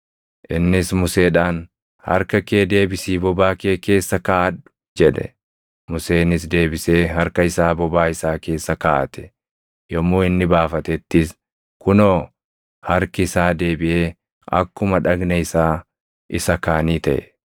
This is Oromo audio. Innis Museedhaan, “Harka kee deebisii bobaa kee keessa kaaʼadhu” jedhe; Museenis deebisee harka isaa bobaa isaa keessa kaaʼate; yommuu inni baafatettis, kunoo harki isaa deebiʼee akkuma dhagna isaa isa kaanii taʼe.